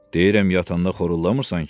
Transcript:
Deyirəm yatanda xoruldamırsan ki?